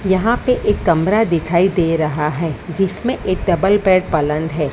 यहां पे एक कमरा दिखाई दे रहा है जिसमें एक डबल बेड पलंद है।